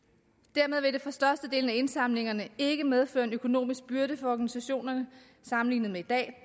dermed vil det for størstedelen af indsamlingernes ikke medføre en økonomisk byrde for organisationerne sammenlignet med i dag